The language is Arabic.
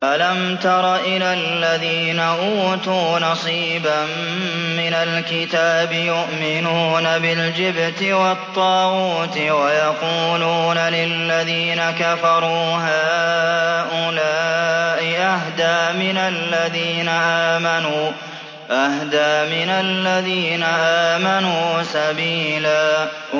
أَلَمْ تَرَ إِلَى الَّذِينَ أُوتُوا نَصِيبًا مِّنَ الْكِتَابِ يُؤْمِنُونَ بِالْجِبْتِ وَالطَّاغُوتِ وَيَقُولُونَ لِلَّذِينَ كَفَرُوا هَٰؤُلَاءِ أَهْدَىٰ مِنَ الَّذِينَ آمَنُوا سَبِيلًا